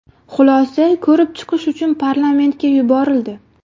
Xulosa ko‘rib chiqish uchun parlamentga yuborildi.